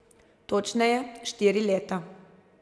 Točneje, štiri leta.